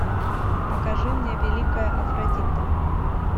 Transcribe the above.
покажи мне великая афродита